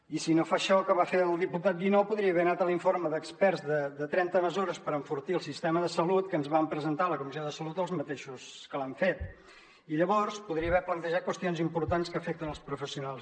i si no fa això que va fer el diputat guinó podria haver anat a l’informe d’experts de trenta + mesures per enfortir el sistema de salut que ens van presentar a la comissió de salut els mateixos que l’han fet i llavors podria haver plantejat qüestions importants que afecten els professionals